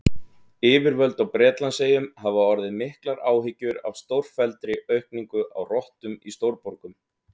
Yfirvöld á Bretlandseyjum hafa orðið miklar áhyggjur af stórfelldri aukningu á rottum í stórborgum.